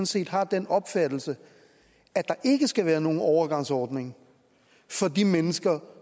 set har den opfattelse at der ikke skal være nogen overgangsordning for de mennesker